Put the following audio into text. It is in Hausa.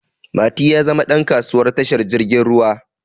Mati ya zama ɗan kasuwa tashar jirgin ruwa